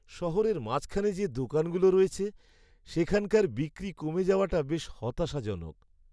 শহরের মাঝখানে যে দোকানগুলো রয়েছে, সেখানকার বিক্রি কমে যাওয়াটা বেশ হতাশাজনক।